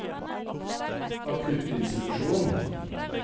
akuttinstitusjonen